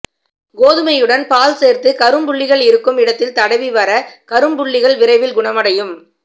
கோதுமையுடன் பால் சேர்த்து கரும்புள்ளிகள் இருக்கும் இடத்தில் தடவி வர கரும்புள்ளிகள் விரைவில்குணமடையும்